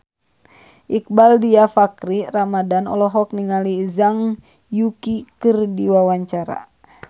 Iqbaal Dhiafakhri Ramadhan olohok ningali Zhang Yuqi keur diwawancara